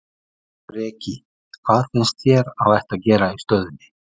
Breki: Hvað finnst þér að ætti að gera í stöðunni?